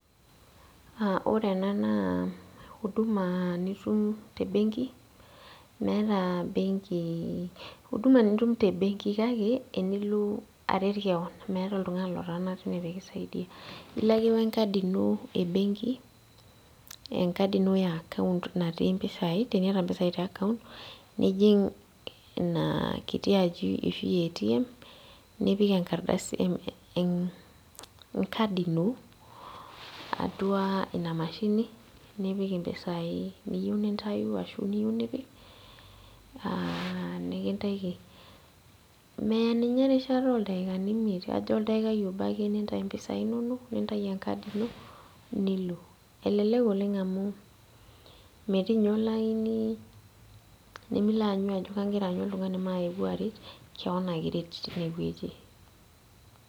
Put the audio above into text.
ore ena naa uduma nitum tebenki. meeta benki. uduma nitum te benki kake enilo aret kewon, meeta oltungani lotaana teine pee kisaidia. ilo ake we nkadi ino e benki, enkadi ino e account natii mpisai, teniata mpisai te account nijing' ina kiti aji, e atm nipik enkardasi enkadi ino atua ina mashini, nipik impisai niyeu nintayu ashu niyieu nipik.aa nikintaiki meya ninye erishata ooldakani imiet. kajo oldaikai obo ake nintayu mpisai inonok. nintayu enkadi ino nilo. elelk oleng amu metii ninye olaini, nimilo aanyu oltungani ajo kagira aanyu oltungani mayeu aret keon ake iret tine wueji.